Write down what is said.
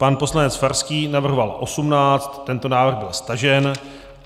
Pan poslanec Farský navrhoval 18, tento návrh byl stažen.